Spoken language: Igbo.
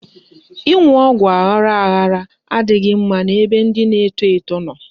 Ịṅụ ọgwụ aghara aghara adịghị mma n'ebe ndị na-eto eto nọ.